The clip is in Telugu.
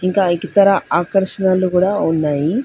ఇంకా ఇతర ఆకర్షణలు కూడా ఉన్నాయి.